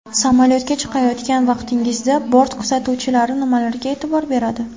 Samolyotga chiqayotgan vaqtingizda bort kuzatuvchilari nimalarga e’tibor beradi?.